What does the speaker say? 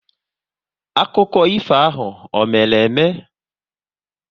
Akụkọ ifo ahụ ọ mere eme?